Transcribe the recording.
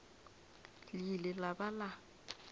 le ile la ba la